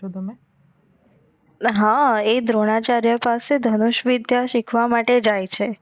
અ હા એ દ્રોણાચાર્ય પાસે ધનુષ વિધ્ય સિખવા માટે જાઈ છે.